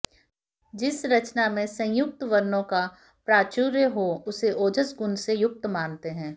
जिस रचना में संयुक्त वर्णों का प्राचुर्य हो उसे ओजस् गुण से युक्त मानते हैं